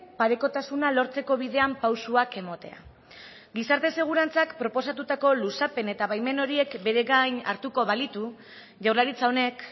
parekotasuna lortzeko bidean pausoak ematea gizarte segurantzak proposatutako luzapen eta baimen horiek bere gain hartuko balitu jaurlaritza honek